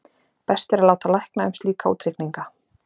best er að láta lækna um slíka útreikninga